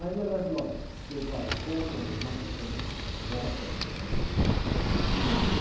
Aí o falou, olha, você vai, compra um macacão, bota, né? E vem aqui.